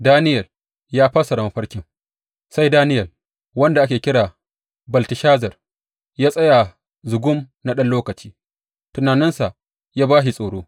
Daniyel Ya Fassara Mafarkin Sai Daniyel wanda ake kira Belteshazar ya tsaya zugum na ɗan lokaci, tunaninsa ya ba shi tsoro.